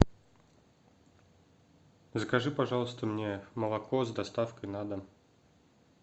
закажи пожалуйста мне молоко с доставкой на дом